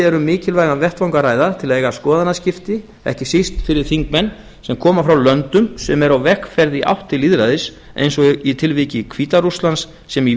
um mikilvægan vettvang að ræða til að eiga skoðanaskipti ekki síst fyrir þingmenn sem koma frá löndum sem eru á vegferð í átt til lýðræðis eins og í tilviki hvíta rússlands sem ég